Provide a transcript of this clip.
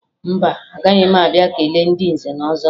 Mba, agaghị m abịa kelee ndị nze na ọzọ